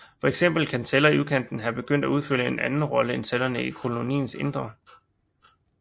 For eksempel kan celler i udkanten have begyndt at udfylde en anden rolle end cellerne i koloniens indre